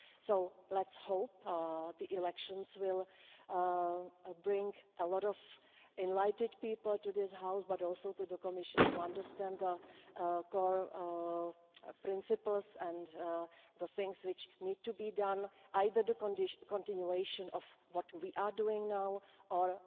So let's hope the elections will bring a lot of enlightened people to this House, but also to the Commission, who understand the core principles and the things which need to be done, either the continuation of what we are doing now or